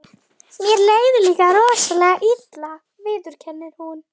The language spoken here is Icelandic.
Mér leið líka rosalega illa, viðurkennir hún.